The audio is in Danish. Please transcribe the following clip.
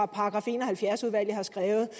§ en og halvfjerds udvalget har skrevet